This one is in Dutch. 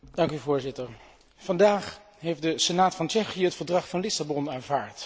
Voorzitter, vandaag heeft de senaat van Tsjechië het Verdrag van Lissabon aanvaard.